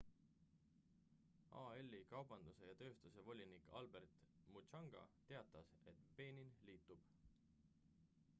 al-i kaubanduse ja tööstuse volinik albert muchanga teatas et benin liitub